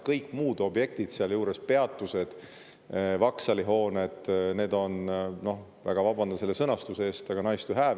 Kõik muud objektid seal juures, peatused, vaksalihooned, need on – ma väga vabandan selle sõnastuse pärast – nice to have.